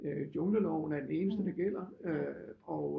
Jungleloven er den eneste der gælder øh og